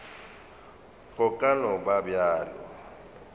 go ka no ba bjalo